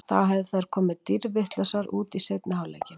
Þá hefðu þær komið dýrvitlausar út í seinni hálfleikinn.